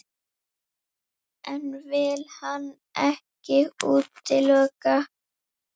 En vill hann ekkert útiloka?